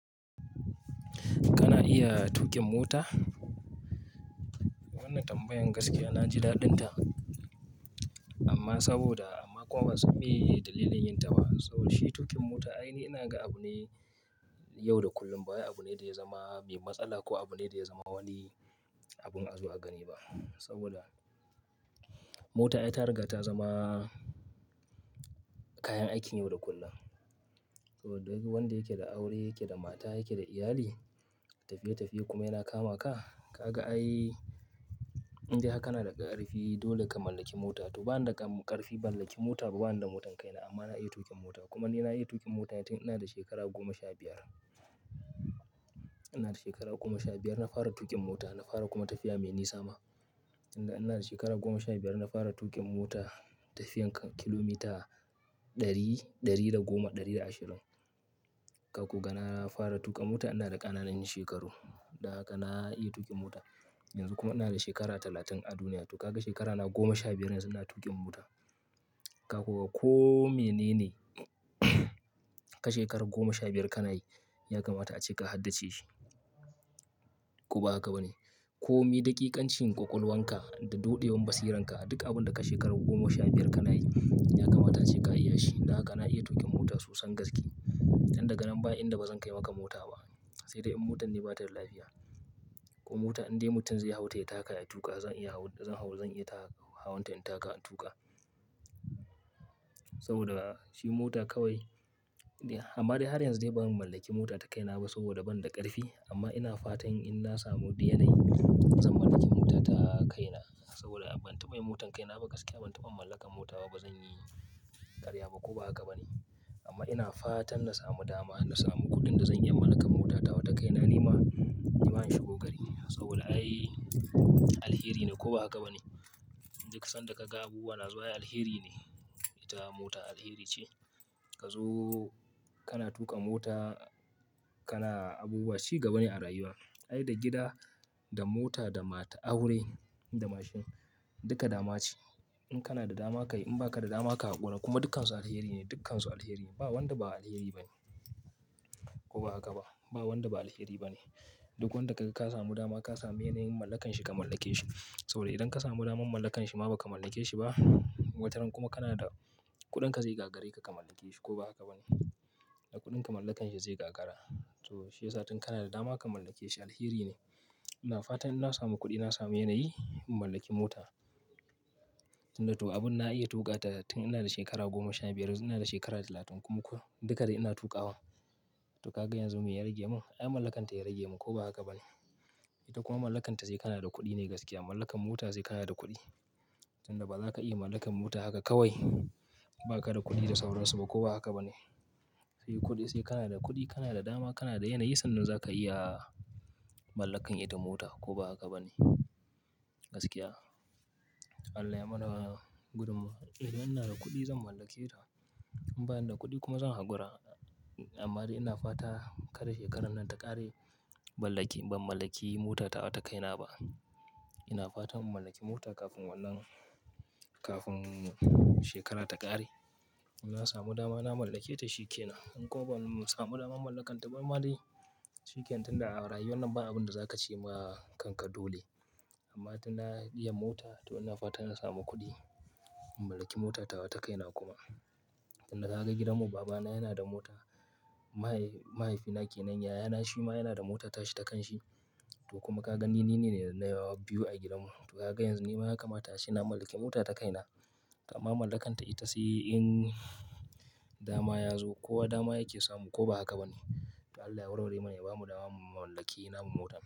Kana iya tuƙin mota? Wannan tambayan gaskiya na ji daɗinta amma saboda amma kuma bansan meye dalilin yinta ba. Saboda shi tuƙin mota a aini ina ga abu ne yau da kullum. Ba abu ne da ya zama mai matsala ko abu ne da ya zama wani abu na azo a gani ba. Saboda mota ita riga ta zama kayan aikin yau da kullum. To duk wanda yake da aure, yake da mata, yake da iyali, tafiye-tafiye kuma yana kama ka, ka ga ai indai har kana da ƙarfi dole ka mallaki mota. To ba na da ƙarfin ban mallaki mota ba, ba ni da motan kaina amma na iya tuƙin mota. Kuma ni na iya tuƙin mota tun ina da shekara goma sha biyar. Ina da shekara goma sha biyar na fara tuƙin mota, na fara kuma tafiya mai nisa ma. Ina da shekara goma sha biyar na fara tuƙin mota tafiyan kilomita ɗari, ɗari da goma, ɗari da ashirin. Ka koga na fara tuƙa mota ina da ƙananan shekaru. Dan haka na iya tuƙin mota. Yanzu kuma ina da shekara talatin a duniya. To ka ga shekaruna goma sha biyar yanzu ina tuƙin mota. Ka ko ga ko mene ne ka shekaru goma sha biyar ka nayi ya kamata ace ka haddace shi. Ko ba haka ba ne? Ko me ɗakikan cin ƙwaƙwalwanka da doɗewar basiranka duk abin da ka shekaru goma sha biyar ka nayi ya kamata ace ka iya shi. Dan haka na iya tuƙin mota sosan gaske. Don daga nan ba inda bazan kai maka mota ba. Sai dai in motan ne bata da lafiya. Ko mota indai mutum zai hau ta ya taka ya tuƙa zan iya hau, zan hau zan iya ta-- hauwan ta in taka in tuƙa. Saboda shi mota kawai, amma dai har yanzu dai ban mallaki mota ta kaina ba saboda ban da ƙarfi. Amma ina fatan in na samu diyanai zan mallaki mota ta kaina. Saboda ban taɓa yin mota ta kaina ba gaskiya. Ban taba mallakar mota ba. Ba zan yi ƙarya ba ko ba haka ba? Amma ina fatan na samu dama, na samu kuɗin da zan iya mallakar mota tawa ta kaina nima na yi ma yin shigo gari. Saboda ai alheri ne ko ba haka ba ne? Duk sanda ka ga abu yana zuwa ai alheri ne. Ita mota alheri ce. Ka zo kana tuƙa mota kana abubuwa cigaba ne a rayuwa. Ai da gida, da mota, da mata aure da mashin duka dama ce. In kana da dama ka yi, in ba ka da dama ka haƙura. Kuma dukkansu alheri ne. Dukkansu alheri ne. Ba wanda ba alheri ba ne. Ko ba haka ba? Ba wanda ba alheri ba ne. Duk wanda ka ga ka samu dama ka samu yanayin mallakanshi ka mallake shi. Saboda idan ka samu damar mallakanshi ma ba ka mallake shi ba wataran kuma kana da kuɗin ka zai gagare ka ka mallake shi ko ba haka ba? Da kuɗin ka mallakanshi zai gagara. To shi yasa tun kana da dama ka mallake shi alheri ne. Ina fatan in na samu kuɗi, na samu yanayi in mallaki mota. Tunda to abin na iya tuƙa ta tun ina da shekara goma sha biyar yanzu ina da shekara talatin kuma kullum duka dai ina tuƙawa. To ka ga yanzu me ya rage mun? Ai mallakanta ya rage mun ko ba haka ba ne? Ita kuma mallakanta sai kana da kuɗi ne gaskiya. Mallakar mota sai kana da kuɗi. Tunda ba za ka iya mallakar mota haka kawai ba ka da kuɗi da sauransu ba ko ba haka ba ne? Sai kuɗi sai kana da kuɗi, kana da dama, kana da yanayi sannan za ka iya mallakar ita mota ko ba haka ba ne? Gaskiya. To Allah ya mana gudummawa. Idan ina da kuɗi zan mallake ta. In bani da kuɗi kuma zan hakura. Amma dai ina fata kar shekarar nan ta ƙare ban mallaki, ban mallaki mota ta wata kaina ba. Ina fatan in mallaki mota kafin wannan, kafin shekara ta ƙare. In na samu dama na mallake ta shi ke nan. In kuma ban samu daman mallaka ta ban ma dai shi kenan tunda a rayuwa nan ba abin da za ka ce ma kanka dole. Amma tun na iya mota to ina fata ina samu kuɗi in mallaki mota tawa ta kaina kuma. Tunda ka ga gidanmu babana yana da mota. Mahaifina kenan yayana shi ma yana da mota tashi ta kan shi. To kuma ka gani ni ne na yawa biyu a gidanmu. To ka ga yanzu nima ya kamata ace na mallaki mota tawa ta kaina. To amma mallakanta ita sai in dama ya zo ko wa dama yake samu ko ba haka ba ne? To Allah ya warware mana. Ya bamu dama mu mallaki namu mota.